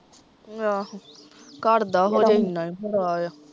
ਆਹੋ ਘਰ ਦਾ ਹੋਜੇ ਏਨਾਂ ਈ ਬੜਾ ਆ